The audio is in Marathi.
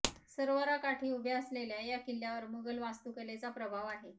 सरोवराकाठी उभ्या असलेल्या या किल्ल्यावर मुघल वास्तुकलेचा प्रभाव आहे